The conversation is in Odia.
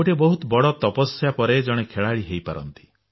ଗୋଟିଏ ବହୁତ ବଡ ତପସ୍ୟା ପରେ ଜଣେ ଖେଳାଳି ହୋଇପାରନ୍ତି